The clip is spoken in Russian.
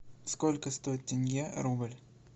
сколько стоит тенге рубль